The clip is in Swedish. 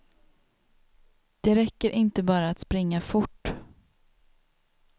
Det räcker inte bara att springa fort.